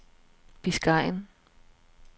Biscayen